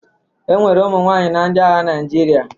E nwere ụmụ nwaanyị na ndị agha Naịjirịa.